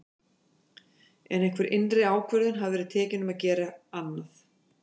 En einhver innri ákvörðun hafði verið tekin um að gera annað.